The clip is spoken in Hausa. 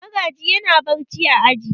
Magaji yana barci a aji.